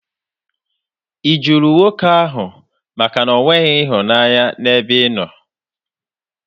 Ị jụrụ nwoke ahụ makana o nweghị ịhụnanya n'ebe ịnọ?